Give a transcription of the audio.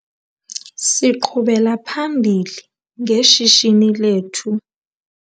Siqhubela phambili ngeshishini lethu.